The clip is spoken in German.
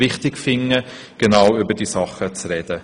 Wir finden es wichtig, über diese Dinge zu sprechen.